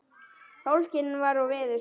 Sólskin var og veður stillt.